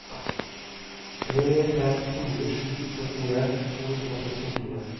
tre fem fire sju syttien to hundre og sekstifire